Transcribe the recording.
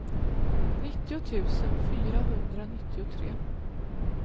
nittio tusen fyrahundranittiotre